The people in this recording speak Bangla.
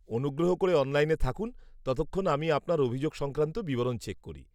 -অনুগ্রহ করে অনলাইনে থাকুন ততক্ষণ আমি আপনার অভিযোগ সংক্রান্ত বিবরণ চেক করি।